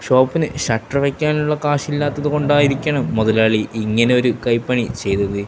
ഷോപ്പിന് shutter വയ്ക്കാനുള്ള കാശില്ലാത്തതുകൊണ്ടായിരിക്കണം മുതലാളി ഇങ്ങനെ ഒരു കൈപ്പണി ചെയ്തത്.